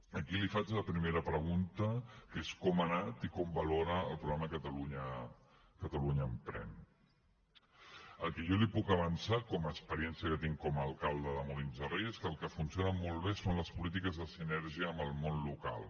aquí li faig la primera pregunta que és com ha anat i com valora el programa catalunya emprèn aquí jo li puc avançar com a experiència que tinc com a alcalde de molins de rei és que el que funciona molt bé són les polítiques de sinergia amb el món local